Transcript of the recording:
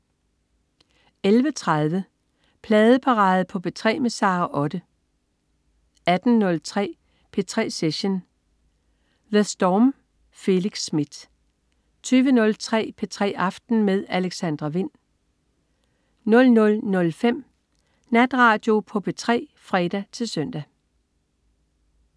11.30 Pladeparade på P3 med Sara Otte 18.03 P3 Session. The Storm. Felix Smith 20.03 P3 aften med Alexandra Wind 00.05 Natradio på P3 (fre-søn)